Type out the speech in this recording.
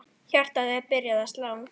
Hjartað er byrjað að slá.